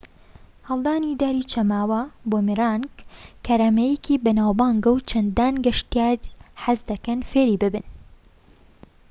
هەڵدانی داری چەماوە بوومیرانگ کارامەییەکەی بەناوبانگە و چەندان گەشتیار حەزدەکەن فێری ببن